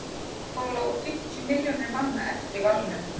þá lágu fimmtíu milljónir manna eftir í valnum